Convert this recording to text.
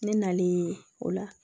Ne nalen o la